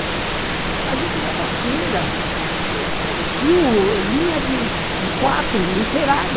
A gente usava cera, fio, linha de quatro, encerada.